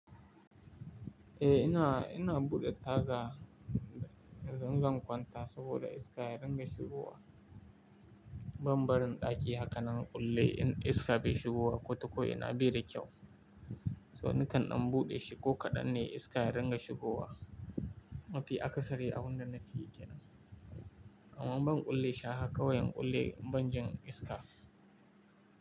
Eh, ina, ina buɗe taga idan, zan kwanta saboda iska ya dinga shigowa. Ban barin ɗaki haka na kulle in iska bai shigowa ko ta ko ina bai da kyau. So nakan in buɗe shiko kaɗan ne iska ya dinga shigowa. Nafiya aka sare abun da nafiyya yake nan. Amma ban kulle shaa haka wayen kulle ban jin iska.